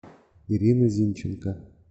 ирина зинченко